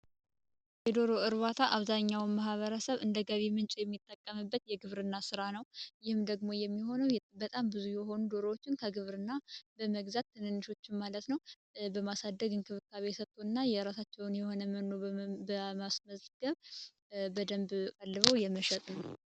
የዶሮ እርባታ አብዛኛው ማበረሰብ እንደገቢ ምንጭ የሚጠቀምበት የግብርና ስራ ነው የሚሆነው በጣም ብዙ የሆነው ከግብርና በመግዛት ማለት ነው በማሳደግና የራሳቸውን የሆነ መኖር በደንብ አደልቦ የመሸጥ ነው።